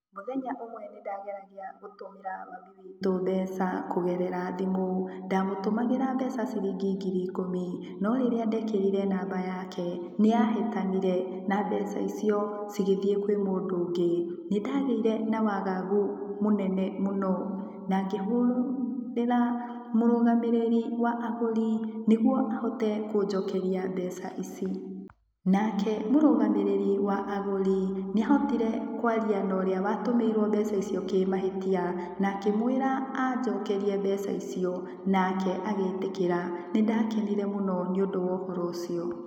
Mũthenya ũmwe nĩndageragia gũtũmĩra mami witũ mbeca kũgerera thimũ. Ndamũtũmagĩra mbeca ciringi ngiri ikũmi no rĩrĩa ndekerire namba yake nĩyahĩtanire, na mbeca icio cigĩthiĩ kwe mũndũ ungĩ. Nindagĩire na wagagu mũnene mũno na ngĩhũrĩra mũrũgamĩrĩri wa agũri nĩgũo ahotĩ kũjokeria mbeca ici. Nake mũrũgamĩrĩri wa agũri nĩahotire kwaria na ũrĩa watũmĩirwo mbeca ici kĩmahĩtia na akĩmwĩra anjokerie mbeca ici, nake agĩĩtĩkĩra. Nĩndakenire mũno nĩũndũ wa ũhoro ũcio.